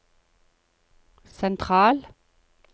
sentral